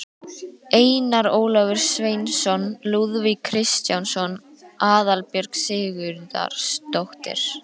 Einar Ólafur Sveinsson, Lúðvík Kristjánsson, Aðalbjörg Sigurðardóttir